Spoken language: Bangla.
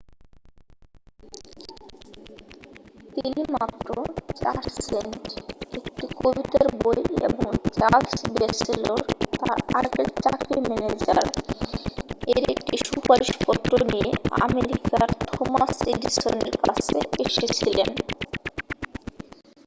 তিনি মাত্র 4 সেন্ট একটি কবিতার বই এবং চার্লস ব্যাচেলর তাঁর আগের চাকরির ম্যানেজার-এর একটি সুপারিশপত্র নিয়ে আমেরিকার থমাস এডিসনের কাছে এসেছিলেন।